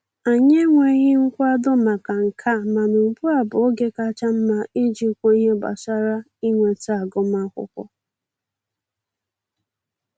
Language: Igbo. Anyị enweghị nkwado maka nke a, mana ugbu a bụ oge kacha mma iji kwuo ihe gbasara inweta agụmakwụkwọ